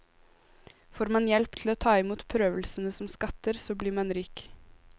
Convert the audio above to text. Får man hjelp til å ta imot prøvelsene som skatter, så blir man rik.